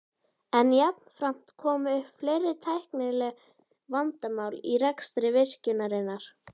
En jafnframt komu upp fleiri tæknileg vandamál í rekstri virkjunarinnar.